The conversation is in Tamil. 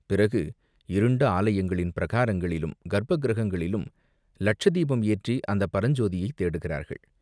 பிறகு இருண்ட ஆலயங்களின் பிரகாரங்களிலும், கர்ப்பக் கிருஹங்களிலும் லட்சதீபம் ஏற்றி அந்தப் பரஞ்சோதியைத் தேடுகிறார்கள்.